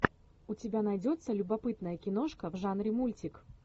у тебя найдется любопытная киношка в жанре мультик